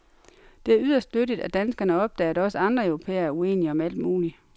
Det er yderst nyttigt, at danskerne opdager, at også andre europæere er uenige om alt muligt.